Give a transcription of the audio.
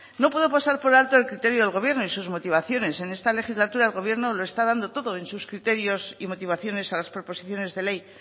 no puedo pasar por alto el criterio del gobierno y sus motivaciones en esta legislatura el gobierno lo está dando todo en sus criterios y motivaciones a las proposiciones de ley